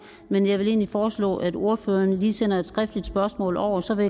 men jeg vil foreslå at ordføreren lige sender et skriftligt spørgsmål over så vil